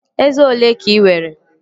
Eze olee ka ị nwere?